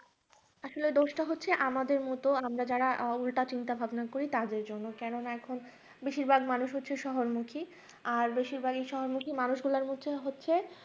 আসলে দোষটা হচ্ছে আমাদের মত আমরা যারা উল্টাপাল্টা ভাবনা করি তাদের জন্য কেন না এখন বেশিরভাগ মানুষ হচ্ছে। শহরের মুখে আর বেশিরভাগই শহর মুখে মানুষগুলা হচ্ছে হচ্ছে